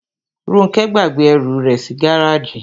Róńkẹ́ gbàgbé ẹrù rẹ̀ sí gáràjì.